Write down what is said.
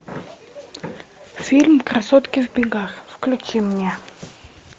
фильм красотки в бегах включи мне